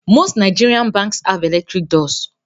Most Nigerian Banks have electric doors